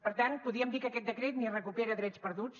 per tant podríem dir que aquest decret ni recupera drets perduts